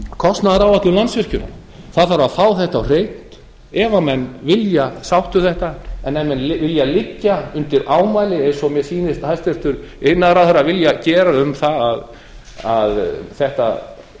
kostnaðaráætlun landsvirkjunar það þarf að fá þetta á hreint ef menn vilja sátt um þetta en ef menn vilja liggja undir ámæli eins og mér sýnist hæstvirtur iðnaðarráðherra vilja gera um það að þetta